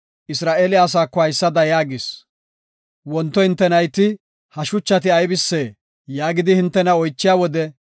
Isra7eele asaako haysada yaagis; “Wonto hinte nayti, ‘Ha shuchati aybisee?’ yaagidi hintena oychiya wode,